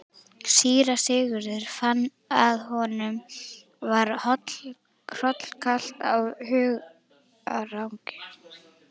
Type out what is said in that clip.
Síra Sigurður fann að honum var hrollkalt af hugarangri.